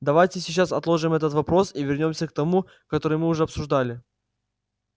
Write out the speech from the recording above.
давайте сейчас отложим этот вопрос и вернёмся к тому который мы уже обсуждали